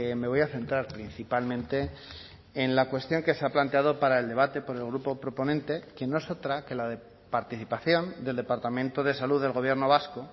me voy a centrar principalmente en la cuestión que se ha planteado para el debate por el grupo proponente que no es otra que la participación del departamento de salud del gobierno vasco